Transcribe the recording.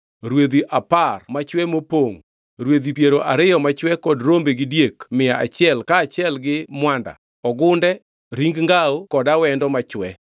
rwedhi apar machwe mopongʼ, rwedhi piero ariyo machwe kod rombe gi diek mia achiel kaachiel gi mwanda; ogunde, ring ngawo kod awendo machwe.